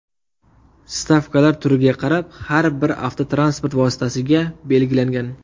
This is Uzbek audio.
Stavkalar turiga qarab har bir avtotransport vositasiga belgilangan.